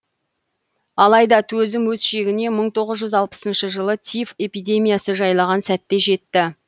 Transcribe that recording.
алайда төзім өз шегіне мың тоғыз жүз алпысыншы жылы тиф эпидемиясы жайлаған сәтте жетті